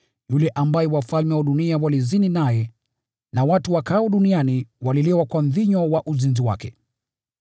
Yule ambaye wafalme wa dunia walizini naye na watu wakaao duniani walilewa kwa mvinyo wa uzinzi wake.”